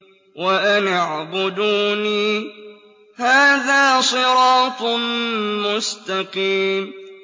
وَأَنِ اعْبُدُونِي ۚ هَٰذَا صِرَاطٌ مُّسْتَقِيمٌ